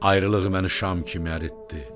Ayrılıq məni şam kimi əritdi.